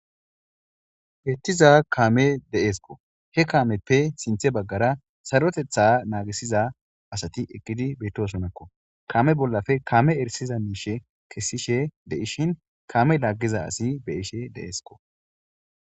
Bettiza kaame de'esko he kaameppe sinthe baggara sarotetha naagisiza asati ekidi bettosonakko kame bollafe kame erisiza miishe kessishe deishin kaame laaggiza asi be'ishe de'eskko